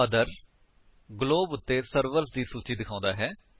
other globe ਉੱਤੇ servers ਦੀ ਸੂਚੀ ਦਿਖਾਂਦਾ ਹੈ